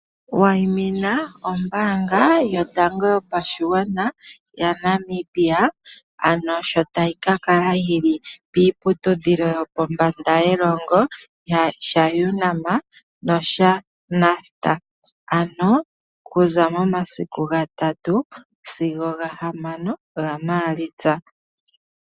Wayimina ombaanga yotango yopashigwana yaNamibia, ano sho tayi kakala yili piiputudhilo yopombanda yelongo, shaUnam, noshaNust. Ano okuza momasiku gatatu, sigo omomasiku gane gaMaalitsa.